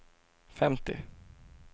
femtio